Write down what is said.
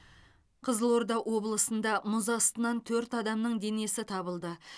қызылорда облысында мұз астынан төрт адамның денесі табылды